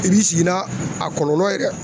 I b'i sigi n'a a kɔlɔlɔ ye dɛ